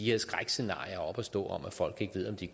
her skrækscenarier om at folk ikke ved om de